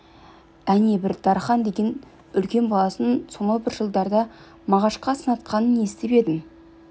әне бір дархан деген үлкен баласын сонау бір жылдарда мағашқа сынатқанын естіп едім